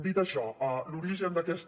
dit això l’origen d’aquesta